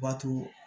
Bato